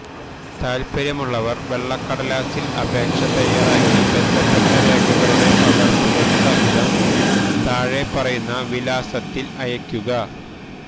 താൽപര്യമുള്ളവർ വെള്ളക്കടലാസിൽ അപേക്ഷ തയ്യാറാക്കി ബന്ധപ്പെട്ട രേഖകളടെ പകർപ്പുകൾ സഹിതം താഴെപ്പറയുന്ന വിലാസത്തിൽ അയക്കുക